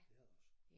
Det er der også